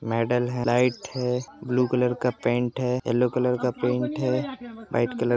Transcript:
medal है light है blue colour का पेंट है येल्लो कलर का पेंट है वाइट कलर --